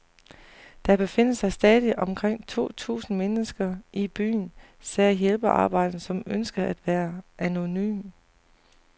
Der befinder sig stadig omkring to tusind mennesker i byen, sagde hjælpearbejderen, som ønskede at være anonym.